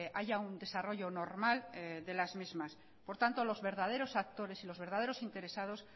haya un desarrollo normal de las mismas por tanto los verdaderos actores y los verdaderos interesados